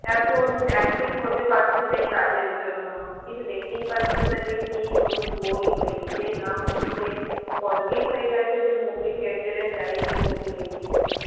এখন active হতে পারছি না এই কাজের জন্য কিছু দেখতেই পাচ্ছি না যে কি নতুন বই হয়েছে না হচ্ছে কতদিন হয়ে গেছে যে movie theater এ যাইনি movie দেখিনি